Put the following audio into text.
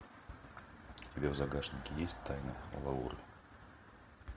у тебя в загашнике есть тайны лауры